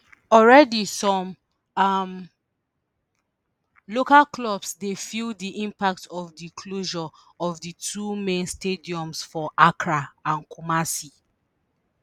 already some um local clubs dey feel di impact of di closure of di two main stadiums for accra and kumasi.